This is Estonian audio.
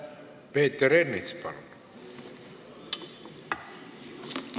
Peeter Ernits, palun!